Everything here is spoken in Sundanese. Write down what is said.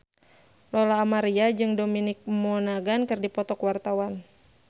Lola Amaria jeung Dominic Monaghan keur dipoto ku wartawan